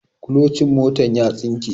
kulocin motar ya tsinke